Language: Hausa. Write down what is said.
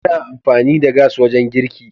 Ana amfani da gas wajen girki.